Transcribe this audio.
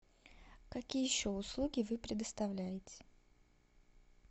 какие еще услуги вы предоставляете